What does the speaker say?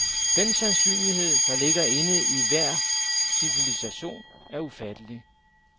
Den sandsynlighed, der ligger inde i enhver civilisation, er ufattelig.